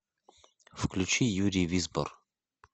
включи юрий визбор